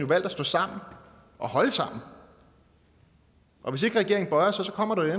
valgt at stå sammen og holde sammen og hvis ikke regeringen bøjer sig kommer der jo